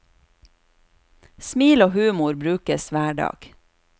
Smil og humor brukes hver dag.